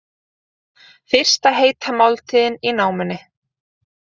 Fyrsta heita máltíðin í námunni